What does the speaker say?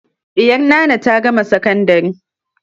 Ɗiyar Nana ta gama sakandari.